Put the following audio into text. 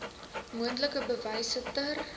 moontlik bewyse ter